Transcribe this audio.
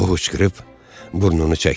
O xuşqırıb burnunu çəkdi.